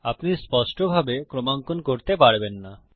আপনি স্পষ্টভাবে ক্রমাঙ্কন করতে পারবেন না